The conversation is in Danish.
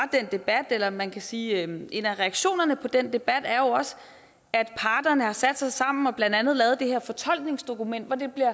debat eller man kan sige en en af reaktionerne på den debat er jo også at parterne har sat sig sammen og blandt andet lavet det her fortolkningsdokument hvori det bliver